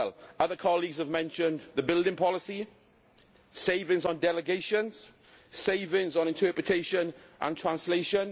Other colleagues have mentioned the building policy, savings on delegations and savings on interpretation and translation.